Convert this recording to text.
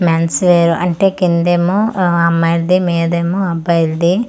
Men's wear అంటే కిందేమో అమ్మాయిల్ది మీదేమో అబ్బాయిల్ది.